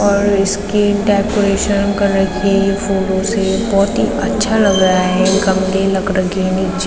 और इसकी decoration colour की फूलों से बहोत ही अच्छा लग रहा है गमले लग रखे नीचे --